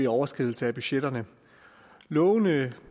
overskridelse af budgetterne lovene